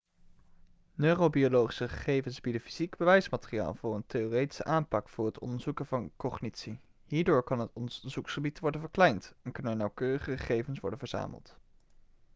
neurobiologische gegevens bieden fysiek bewijsmateriaal voor een theoretische aanpak voor het onderzoeken van cognitie hierdoor kan het onderzoeksgebied worden verkleind en kunnen er nauwkeurigere gegevens worden verzameld